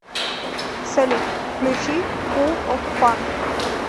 салют включи фул оф фан